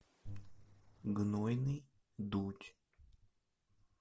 гнойный дочь